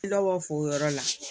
Tilabɔ foo yɔrɔ la